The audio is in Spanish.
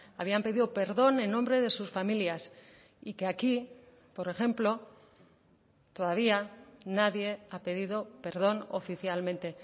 habían pedido perdón en nombre de sus familias y que aquí por ejemplo todavía nadie ha pedido perdón oficialmente